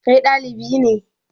Kai ɗalibi ne?